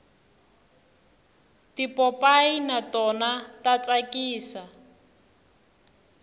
tipopayi na tona ta tsakisa